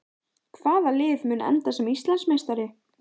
Hvaða lið mun enda sem Íslandsmeistari?